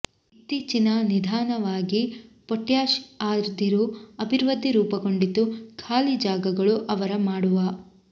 ಇತ್ತೀಚಿನ ನಿಧಾನವಾಗಿ ಪೊಟ್ಯಾಶ್ ಅದಿರು ಅಭಿವೃದ್ಧಿ ರೂಪುಗೊಂಡಿತು ಖಾಲಿ ಜಾಗಗಳು ಅವರ ಮಾಡುವ